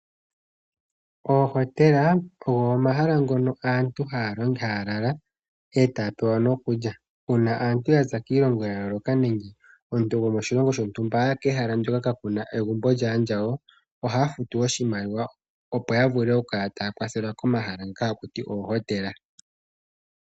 Oohotela ogo omahala ngono aantu haya lala e taya pewa nokulya. Uuna aantu ya za kiilongo ya yooloka nenge omuntu gokoshilongo shontumba aya kehala ndoka ka kuna egumbo lyaandjawo, ohaya futu oshimaliwa opo ya vule okukala taya kwathelwa komahala ngaka haku ti oohotela.